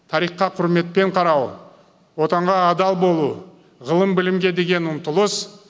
тарихқа құрметпен қарау отанға адал болу ғылым білімге деген ұмтылыс